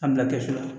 An bila kɛsu la